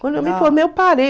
Quando eu me formei, eu parei.